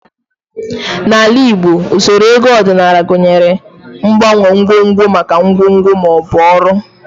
N'ala Igbo, usoro ego ọdịnala gụnyere mgbanwe ngwongwo maka ngwongwo ma ọ bụ ọrụ